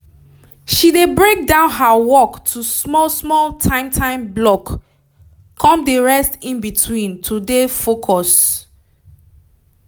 she dey break down her work to small small time time block come dey rest in between to dey focus